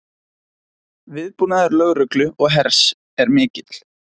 Viðbúnaður lögreglu og hers er mikill